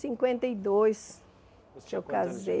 Cinquenta e dois que eu casei